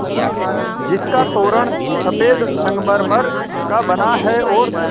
जिसका तोरण सफ़ेद संगमरमर का बना है और